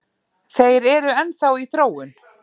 Þeir eru enn þá í þróun